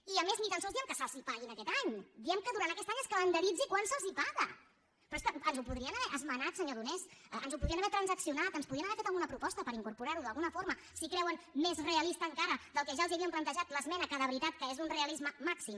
i a més ni tan sols diem que se’ls pagui aquest any diem que durant aquest any es calendaritzi quan se’ls paga però és que ens ho podrien haver esmenat senyor donés ens ho podrien haver transaccionat ens podien haver fet alguna proposta per incorporar·ho d’alguna forma si creuen més realista encara del que ja els hi havíem plantejat l’esmena que de veritat és que és d’un realisme màxim